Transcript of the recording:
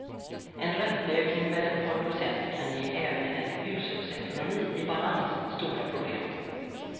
En ränteökning med ett par procent kan ge även en hushållsekonomi i balans stora problem.